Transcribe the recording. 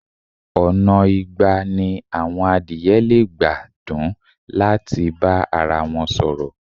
Ọ̀nà igba ni àwọn adìẹ lè gba dún láti bá arawọn sọ̀rọ̀.